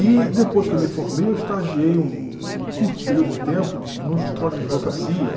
E depois que eu me formei, eu estagiei um um um curto período de tempo num escritório de advocacia.